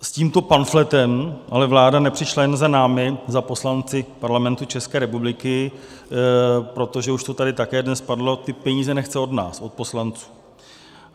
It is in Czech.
S tímto pamfletem ale vláda nepřišla jenom za námi, za poslanci Parlamentu České republiky, protože - už to tady také dnes padlo - ty peníze nechce od nás, od poslanců.